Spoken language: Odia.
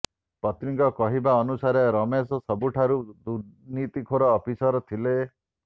ପତ୍ନୀଙ୍କ କହିବା ଅନୁସାରେ ରମେଶ ସବୁଠାରୁ ଦୁର୍ନିତୀଖୋର ଅଫିସର ଥିଲେ